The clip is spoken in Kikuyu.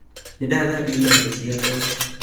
Nĩndathambia iratũ ciakwa